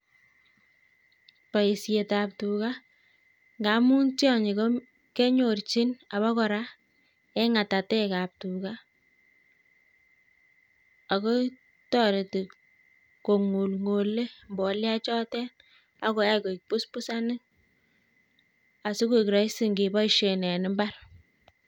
Boishet ab tuga ngamu tionyi kenyorchin ako kora eng ng'atatek ab tuga ako toreti ngong'olng'ole mbolea koek busbussanik asokoek raisi eng imbar